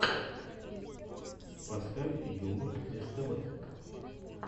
поставь юмор ств